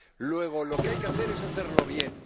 Luego lo que hay que hacer es hacerlo bien.